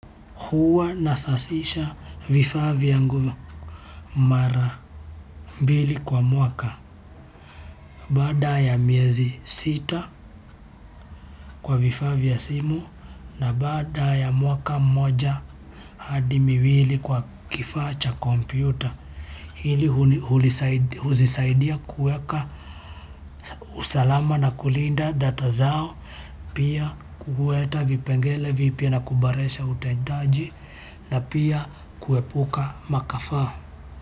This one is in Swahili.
Huwa nasasisha vifaa yangu mara mbili kwa mwaka baada ya miezi sita kwa vifaa vya simu na baada ya mwaka mmoja hadi miwili kwa kifaa cha kompyuta hili huzisaidia kuweka usalama na kulinda data zao pia kuhueta vipengele vipya na kuboresha utendaji na pia kuepuka makafaa.